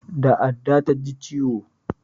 Da adda ta ji ciwo